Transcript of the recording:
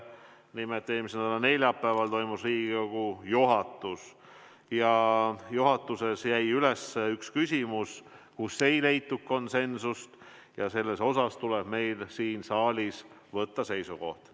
Nimelt, eelmise nädala neljapäeval toimus Riigikogu juhatus ja juhatuses jäi üles üks küsimus, kus ei leitud konsensust, ja selles osas tuleb meil siin saalis võtta seisukoht.